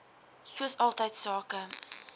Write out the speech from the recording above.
soos altyd sake